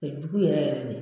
Kɛ jugu yɛrɛ yɛrɛ de.